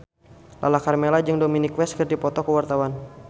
Lala Karmela jeung Dominic West keur dipoto ku wartawan